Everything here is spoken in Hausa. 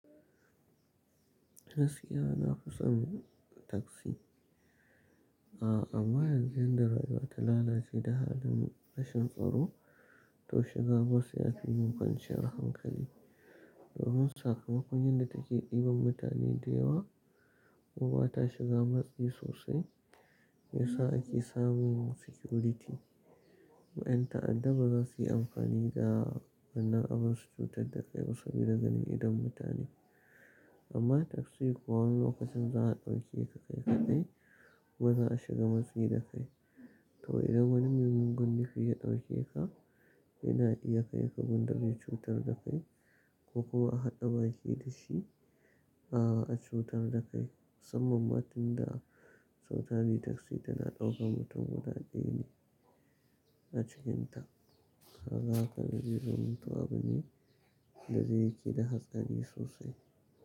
Gaskiya nafi son taksi. A amma yanzu yan da rayuwa ta lalace da halin rashin tsaro, to shiga bas ya fi min kwanciyar hankali. Domin sakamakon yan da take ɗiban mutane da yawa ko ba ta shiga matsi sosai, shi yasa ake samun security. Ƴan ta'adda baza suyi amfani da wannan abun su cutar da kai ba saboda ganin idon mutane amma taksi kuwa wani lokacin za a ɗauke ka kai kaɗai kuma ba za a shiga matsi da kai. To idan wani mugun nufi ya ɗauke ka, yana iya kai ka gundar ya cutar da kai ko kuwa a haɗa baki da shi, a a cutar da kai. Musamman ma tun da cutar yi taksi tana ɗaukan mutum guda ɗaya ne a cikinta. Haka ka gani zumuntawa bane da zai da haskari sosai.